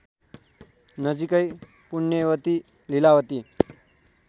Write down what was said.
नजीकै पुण्यवती लीलावती